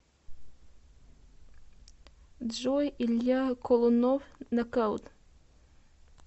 джой илья колунов нокаут